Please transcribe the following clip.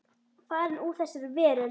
Farin úr þessari veröld.